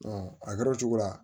a kɛra o cogo la